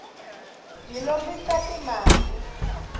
hi lombisa ti mali